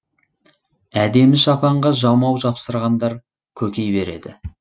әдемі шапанға жамау жапсырғандар көки береді